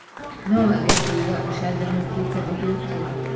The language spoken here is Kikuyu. No wage kũigua ũcanjamũkĩte ũgĩũkĩra.